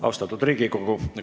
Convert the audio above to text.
Austatud Riigikogu!